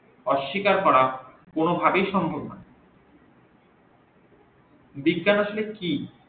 অশিকার করা কোন ভাবেই সম্ভব না বিজ্ঞান আসলে কি